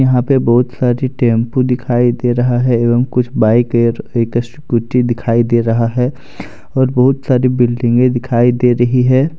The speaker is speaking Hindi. यहां पे बहुत सारी टेंपू दिखाई दे रहा है एवं कुछ बाइके और एक स्कूटी दिखाई दे रहा है और बहुत सारी बिल्डिंगे दिखाई दे रही है।